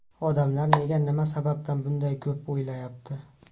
Odamlar nega, nima sababdan bunday ko‘p o‘lyapti?